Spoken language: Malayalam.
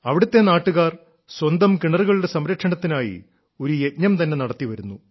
അവിടത്തെ നാട്ടുകാർ സ്വന്തം കിണറുകളുടെ സംരക്ഷണത്തിനായി ഒരു യജ്ഞം തന്നെ നടത്തിവരുന്നു